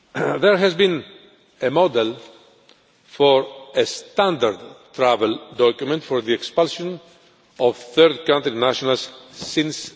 There has been a model for a standard travel document for the expulsion of third-country nationals since